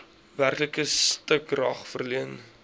werklike stukrag verleen